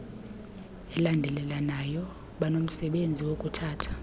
elandelelanayo banomsebenzi wokuthatha